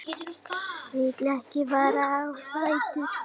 Vil ekki fara á fætur.